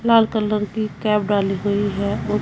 लाल colour की cap डाली हुई है और--